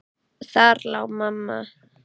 Þar lá mamma.